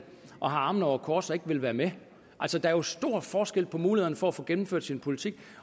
og har armene over kors og ikke vil være med der er jo stor forskel på mulighederne for at få gennemført sin politik